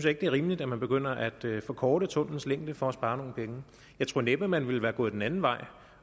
ikke det er rimeligt at man begynder at forkorte tunnellens længde for at spare nogle penge jeg tror næppe at man ville være gået den anden vej